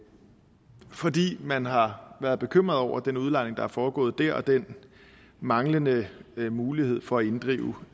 fordi man har været bekymret over den udlejning der er foregået der og den manglende mulighed for at inddrive